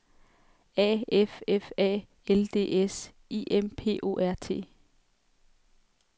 A F F A L D S I M P O R T